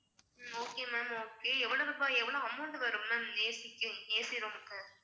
உம் okay ma'am okay எவ்ளோ பா~ amount வரும் ma'amAC க்கு ACroom க்கு